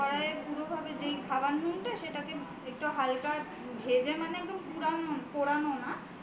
কড়াইয়ে কুড়ো করে যে খাবার নুনটা সেটাকে একটু হালকা ভেজে মানে একদম পোড়া নোনা